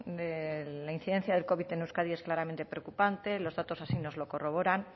de la incidencia del covid en euskadi es claramente preocupante los datos así nos lo corroboran